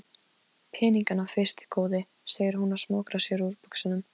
Peningana fyrst góði, segir hún og smokrar sér úr buxunum.